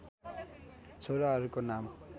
छोराहरूको नाम